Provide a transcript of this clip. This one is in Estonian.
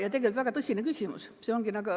Ja tegelikult väga tõsine küsimus.